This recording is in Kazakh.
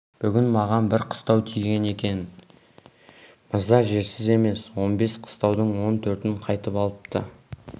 бүгін маған бір қыстау тиген екен мырза жерсіз емес он бес қыстаудың он төртін қайтып алыпты